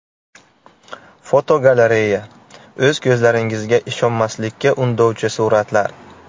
Fotogalereya: O‘z ko‘zlaringizga ishonmaslikka undovchi suratlar.